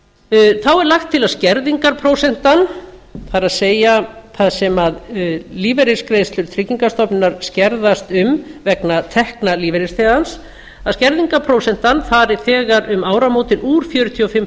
þá er lagt til að skerðingarprósentan það er þar sem lífeyrisgreiðslur tryggingastofnunar skerðast um vegna tekna lífeyrisþegans skerðingarprósentan fari þegar um áramótin úr fjörutíu og fimm